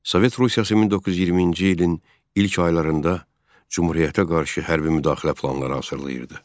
Sovet Rusiyası 1920-ci ilin ilk aylarında Cümhuriyyətə qarşı hərbi müdaxilə planları hazırlayırdı.